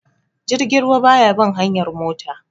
Jirgin ruwa ba ya bin hanyar mota